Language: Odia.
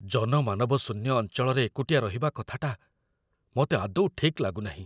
ଜନମାନବଶୂନ୍ୟ ଅଞ୍ଚଳରେ ଏକୁଟିଆ ରହିବା କଥାଟା ମୋତେ ଆଦୌ ଠିକ୍ ଲାଗୁନାହିଁ।